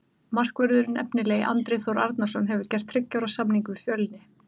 Markvörðurinn efnilegi Andri Þór Arnarson hefur gert þriggja ára samning við Fjölni.